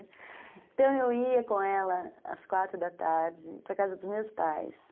Então eu ia com ela às quatro da tarde para a casa dos meus pais.